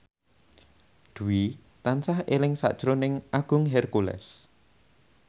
Dwi tansah eling sakjroning Agung Hercules